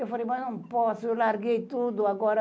Eu falei, mas não posso, eu larguei tudo agora.